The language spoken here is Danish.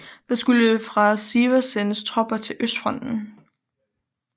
Der skulle fra Sivas sendes tropper til østfronten